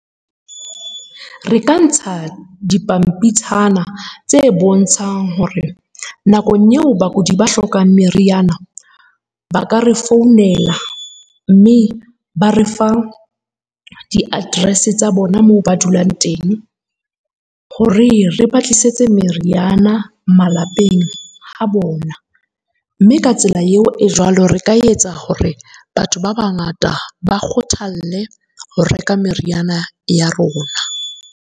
Re ka ntsha dipampitshana tse bontshang hore nakong eo bakudi ba hlokang meriana, ba ka re founela mme ba re fa di-address-e tsa bona moo ba dulang teng hore re ba tlisetse meriana malapeng ha bona. Mme ka tsela eo e jwalo, re ka etsa hore batho ba bangata ba kgothalle ho reka meriana ya rona.